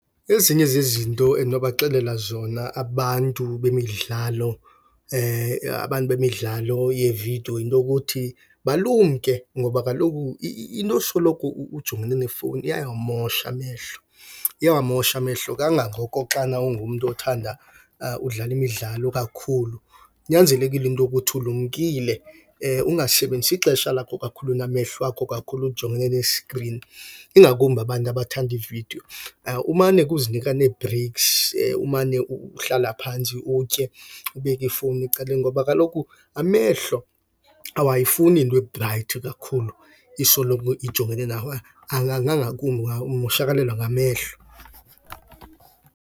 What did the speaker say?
Ezinye zezinto endinobaxelela zona abantu bemidlalo abantu bemidlalo yevidiyo yinto yokuthi balumke ngoba kaloku into yosoloko ujongene nefowuni iyawamosha amehlo, iyawamosha amehlo kangangoko xana ungumntu othanda udlala imidlalo kakhulu. Kunyanzelekile into yokuthi ulumkile ungasebenzisi ixesha lakho kakhulu namehlo akho kakhulu ujongene neskrini ingakumbi abantu abathanda iividiyo. Umane ke uzinika neebhreyiksi, umane uhlala phantsi utye, ubeke ifowuni ecaleni ngoba kaloku amehlo awayifuni into ebhrayithi kakhulu, isoloko ijongene nawo, ngakumbi ungamoshakalelwa ngamehlo.